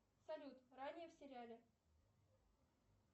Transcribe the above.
салют ранее в сериале